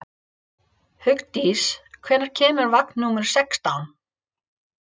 Hugdís, hvenær kemur vagn númer sextán?